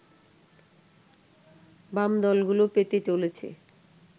বাম দলগুলো পেতে চলেছে